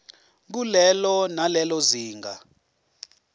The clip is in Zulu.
kulelo nalelo zinga